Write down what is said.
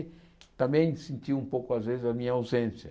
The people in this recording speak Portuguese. E também sentiu um pouco às vezes a minha ausência.